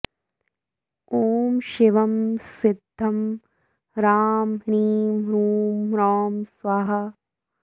ॐ शिवं सिद्धं ह्रां ह्रीं ह्रूं ह्रौं स्वाहा